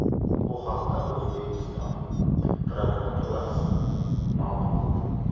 Bu haqda O‘zbekiston prokuraturasi ma’lum qildi .